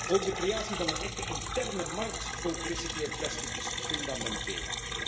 Ook de creatie van een echte interne markt voor gerecycleerd plastic is fundamenteel.